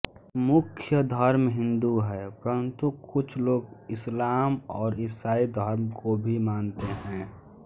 मुख्य धर्म हिंदू है परन्तु कुछ लोग इस्लाम और ईसाई धर्म को भी मानते हैं